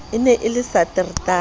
e ne e le satertaha